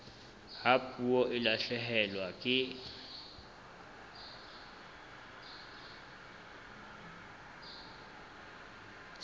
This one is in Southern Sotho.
ha puo e lahlehelwa ke